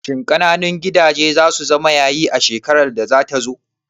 Shin ƙananun gidaje zasu zama yayi a shekarar da zata zo?